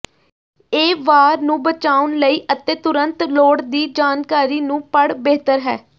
ਇਹ ਵਾਰ ਨੂੰ ਬਚਾਉਣ ਲਈ ਅਤੇ ਤੁਰੰਤ ਲੋੜ ਦੀ ਜਾਣਕਾਰੀ ਨੂੰ ਪੜ੍ਹ ਬਿਹਤਰ ਹੈ